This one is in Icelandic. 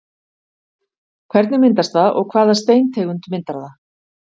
Hvernig myndast það og hvaða steintegund myndar það?